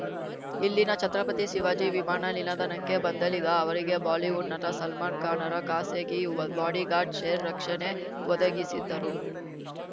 ಇಲ್ಲಿನ ಛತ್ರಪತಿ ಶಿವಾಜಿ ವಿಮಾನ ನಿಲದಾಣಕ್ಕೆ ಬಂದಳಿದ ಅವರಿಗೆ ಬಾಲಿವುಡ್‌ ನಟ ಸಲ್ಮಾನ್‌ ಖಾನ್‌ರ ಖಾಸಗಿ ಬಾಡಿಗಾರ್ಡ್‌ ಶೇರ್ ರಕ್ಷಣೆ ಒದಗಿಸಿದ್ದರು